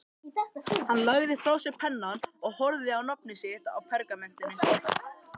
Hann lagði frá sér pennann og horfði á nafnið sitt á pergamentinu.